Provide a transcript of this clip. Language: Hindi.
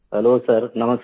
हेल्लो सर नमस्कार